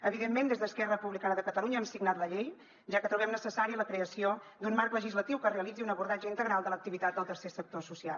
evidentment des d’esquerra republicana de catalunya hem signat la llei ja que trobem necessària la creació d’un marc legislatiu que realitzi un abordatge integral de l’activitat del tercer sector social